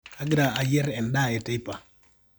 kagira ayierr endaa e teipa